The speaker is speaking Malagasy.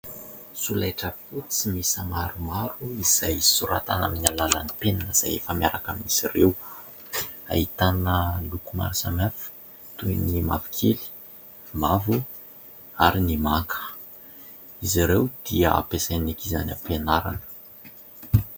Solaitra fotsy miisa maromaro izay soratana amin'ny alalan'ny penina izay efa miaraka amin'izy ireo. Ahitana loko maro samihafa toy ny mavokely, mavo ary ny manga. Izy ireo dia ampiasain'ny ankizy any am-pianarana.